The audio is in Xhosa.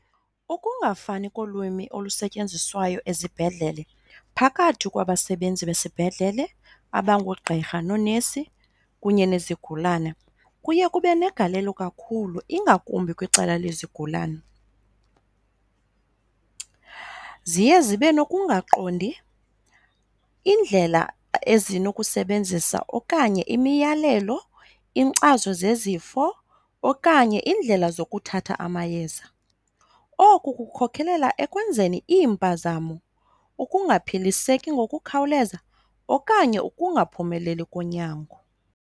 Ukungafani kolwimi olusetyenziswayo ezibhedlele phakathi kwabasebenzi besibhedlele abangoogqirha noonesi kunye nezigulana kuye kube negalelo kakhulu ingakumbi kwicala lezigulana. Ziye zibe nokungaqondi iindlela ezinokusebenzisa okanye imiyalelo, inkcazo zezifo okanye iindlela zokuthatha amayeza. Oku kukhokhelela ekwenzeni iimpazamo, ukungaphiliseki ngokukhawuleza okanye ukungaphumeleli konyango.